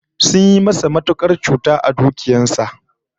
Sun yi masa matukar cuta a dukiyar sa